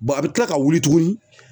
a bɛ tila ka wuli tuguni